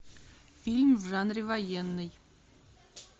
фильм в жанре военный